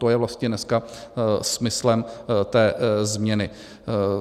To je vlastně dneska smyslem té změny.